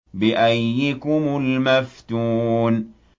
بِأَييِّكُمُ الْمَفْتُونُ